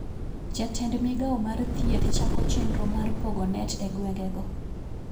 Jatend migao mar thiethochako chendro mar pogo net e gwenge go